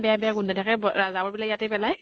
বেয়া বেয়া গোন্ধাই থাকে । জাবৰ বিলাক ইয়াতে পেলাই